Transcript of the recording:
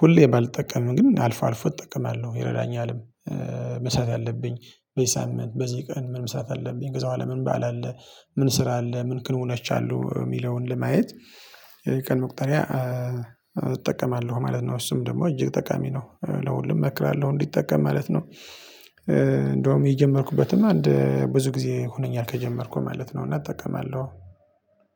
ሁሌ ባልጠቀምም ግን አልፎ አልፎ እጠቀማለሁ ይረዳኛልም። መስራት ያለብኝ በዚህ ሳምንት በዚህ ቀን ምን መስራት አለብኝ በኃላ ምን በዓል አለ። ምን ስራ አለ ምን ክንውኖች አሉ የሚለውን ለማየት። የቀን መቁጠሪያ እጠቀማለሁ ማለት ነው። እሱም ደግሞ እጅግ ጠቃሚ ነው። ለሁሉም እመክራለሁ እንዲጠቀም ማለት ነው። እንደውም የጀመርኩበትም አንድ ብዙ ጊዜ ሆነኛል ከጀመርኩ ማለት ነው። እና እጠቀማለሁ።